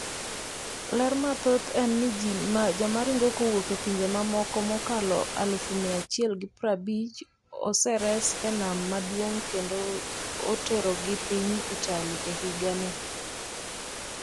ler mathoth en ni Jomoringo kowuok e pinje mamoko mokalo 150,000 oseres e nam maduong’ kendo oterogi piny Italy e higa ni